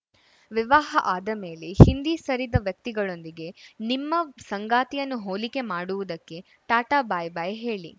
ವಿವಾಹ ಆದಮೇಲೆ ಹಿಂದಿ ಸರಿದ ವ್ಯಕ್ತಿಗಳೊಂದಿಗೆ ನಿಮ್ಮ ಸಂಗಾತಿಯನ್ನು ಹೋಲಿಕೆ ಮಾಡುವುದಕ್ಕೆ ಟಾಟಾ ಬೈ ಬೈ ಹೇಳಿ